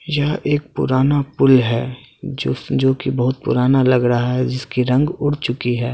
यह एक पुराना पुल है जो जो की बहुत पुराना लग रहा है जिसकी रंग उड़ चुकी है और --